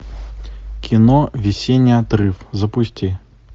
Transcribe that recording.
кино весенний отрыв запусти